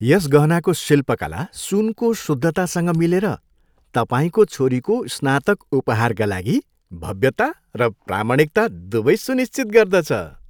यस गहनाको शिल्पकला, सुनको शुद्धतासँग मिलेर, तपाईँको छोरीको स्नातक उपहारका लागि भव्यता र प्रामाणिकता दुवै सुनिश्चित गर्दछ।